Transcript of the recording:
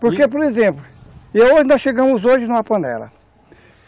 Porque, por exemplo, eu, nós chegamos hoje numa panela.